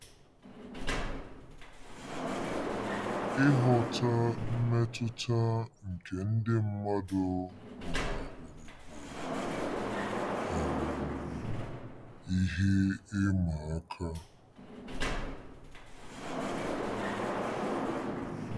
Ịghọta mmetụta nke ndị mmadụ nwụnahụrụ bụ um ihe ịma aka.